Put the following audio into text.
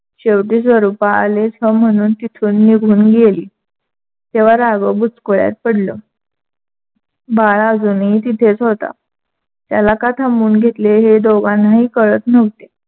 शेवटी स्वरूपा आलेच ह म्हणून तिथून निघून गेली. तेव्हा राघव बुचकुळ्यात पडलं. बाळा अजूनही तिथेच होता. त्याला का थांबवून घेतले हे दोघांनाही कळत नव्हते.